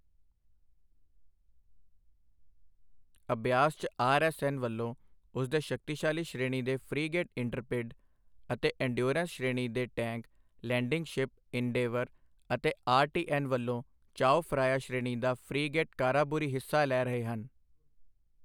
ਅਭਿਆਸ 'ਚ R. S. N. ਵਲੋਂ ਉਸਦੇ ਸ਼ਕਤੀਸ਼ਾਲੀ ਸ਼੍ਰੇਣੀ ਦੇ ਫ਼੍ਰੀਗੇਟ ਇੰਟਰਪਿਡ ਅਤੇ ਇੰਨਡਯੋਰੇਂਨਸ ਸ਼੍ਰੇਣੀ ਦੇ ਟੈਂਕ ਲੈਂਡਿੰਗ ਸ਼ਿਪ ਇੰਨਡੇਵਰ ਅਤੇ ਆਰ. ਟੀ. ਐਨ. ਵਲੋਂ ਚਾਓ ਫਰਾਇਆ ਸ਼੍ਰੇਣੀ ਦਾ ਫ੍ਰੀਗੇਟ ਕਾਰਾਬੂਰੀ ਹਿੱਸਾ ਲੈ ਰਹੇ ਹਨ।